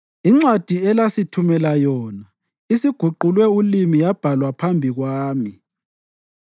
Incwadi elasithumela yona isiguqulwe ulimi yabalwa phambi kwami.